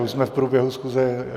Už jsme v průběhu schůze.